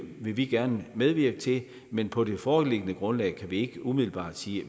vil vi gerne medvirke til men på det foreliggende grundlag kan vi ikke umiddelbart sige